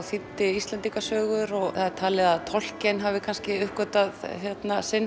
þýddi Íslendingasögur og það er talið að Tolkien hafi uppgötvað sinn